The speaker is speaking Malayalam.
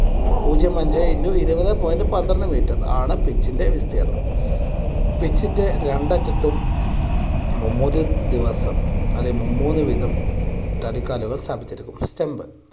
പൂജ്യം അഞ്ചേ into ഇരുപതെ point പന്ത്രണ്ട് meter ആണ് pitch ന്റെ വിസ്തീർണ്ണം. pitch ന്റെ രണ്ടറ്റത്തും ദിവസം അത് മുന്നൂറ് ദിവ സ്ഥാപിച്ചിരിക്കുന്നു. stump